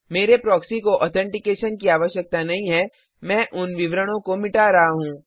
मेरे प्रॉक्सी को ऑथेंटिकेशन की आवश्यकता नहीं है मैं उन विवरणो को मिटा रहा हूँ